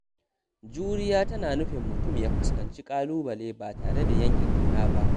Juriya tana nufin mutum ya fuskanci ƙalubale ba tare da yanke ƙauna ba.